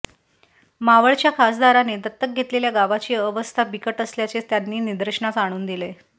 मावळच्या खासदाराने दत्तक घेतलेल्या गावाची अवस्था बिकट असल्याचे त्यांनी निदर्शनास आणून दिले